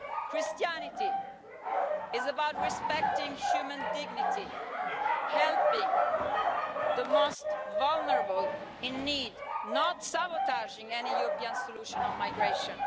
Christianity is about respecting human dignity and helping the most vulnerable in need, not sabotaging any European solution on migration.